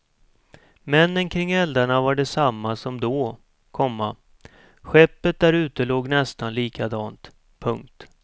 Männen kring eldarna var de samma som då, komma skeppet där ute låg nästan likadant. punkt